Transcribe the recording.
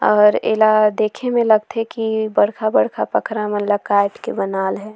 और एला देखे म लगथे की बरखा-बरखा पखरा मन ल काट के बनाएल हे।